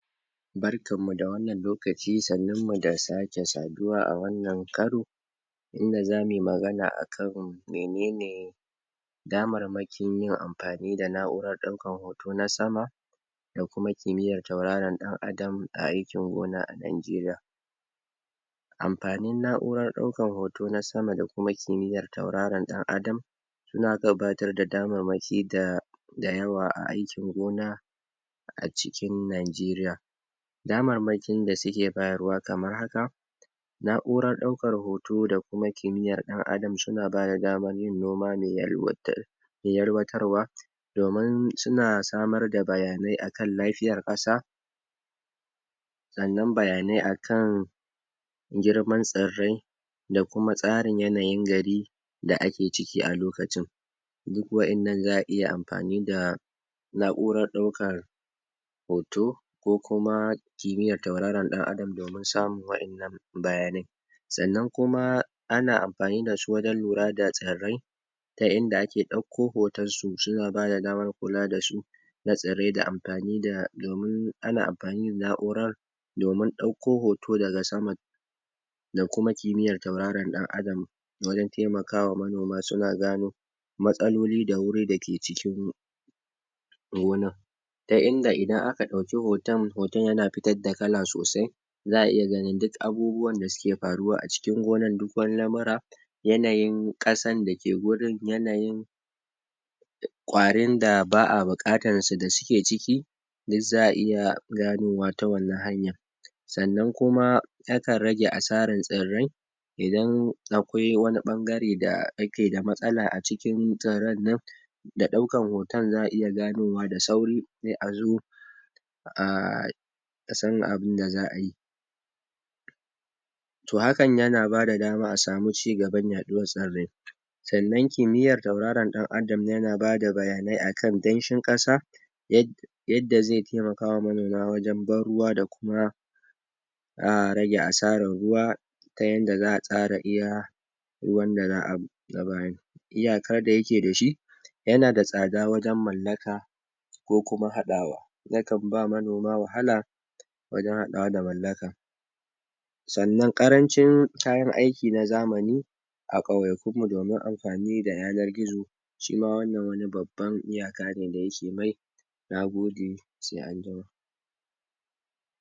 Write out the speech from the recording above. Barkan mu da wannan lokaci, sannun mu da sake saduwa a cikin wannan karo, inda zamuyi magana akan mene ne damarmakin yin amfani da na'urar ɗaukar hoto na sama, da kuma kimiyyar tauraron ɗan adam a aikin gona a Najeriya. Amfanin na'urar ɗaukar hoto na sama da kuma kimiyyar tauraron ɗan adam, su na gabatar da damarmaki da? yawa a aikin gona a cikin Najeriya. Damarmakin da suke bayarwa kamar haka: na'urar ɗaukar hoto da kuma kimiyyar ɗan adam suna bada damar yin noma mai? yalwatarwa domin suna samar da bayanai a kan lafiyar ƙasa, sannan bayanai a kan girman tsirrai, da kuma tsarin yanayin gari da ake ciki a lokacin. Duk wa'innan za a iya amfani da na'urar ɗaukar hoto ko kuma kimiyyar tauraron ɗan adam domin samun wa'innan bayanai. Sannan kuma ana amfani dasu wajen lura daa tsirrai ta inda a ke ɗaukko hoton su, suna bada damar kula da shuka da tsirrai? ana amfani da na'urar domin ɗauko hoto daga sama da kuma kimiyyar tauraron ɗan adam, wajen taimakawa manoma suna gano matsaloli da wuri da ke cikin gonar, ta inda idan aka ɗauki hoton, hoton yana fitar da kala sosai, za a iya ganin duk abubuwan da suke faruwa a cikin gonar, duk wani lamura, yanayin ƙasar da ke wurin, yanayin ƙwarin da ba a buƙatar su da suke ciki, duk za a iya ganowa ta wannan hanyar. Sannan kuma ta kan rage asarar tsirrai, idan akwai wani ɓangare da ake da matsala a ciki tsirran nan, da ɗaukar hoton za a iya ganowa da sauri, sai a zo a san abinda za ayi. To hakan yana bada dama a samu ci gaban yaɗuwar tsirrai. Sannan kimiyyar tauraron ɗan adam yana bada bayanai a kan danshin ƙasa,? yadda zai taimakawa manoma wajen ban ruwa da kuma? rage asarar ruwa, ta yanda za a tsara iya ruwan da za a bayar. Iyakar da yake dashi: yana da tsada wajen mallaka, ko kuma haɗawa. Ya kan ba manoma wahala, wajen haɗawa da mallaka. Sannan ƙarancin kayan aiki na zamani a ƙauyakun mu domin amfani da yanar gizo, shi ma wannan wani babban iyaka ne da yake? Na gode sai anjima.